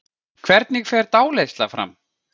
Hvernig fer dáleiðsla fram?